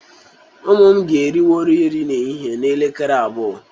Ụmụ m ga-eriwori nri ehihe n'elekere abụọ.